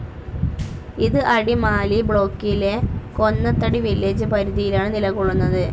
ഇത് അടിമാലി ബ്ലോക്കിലെ ‍, കൊന്നത്തടി വില്ലേജ്‌ പരിധിയിലാണ് നിലകൊള്ളുന്നത്.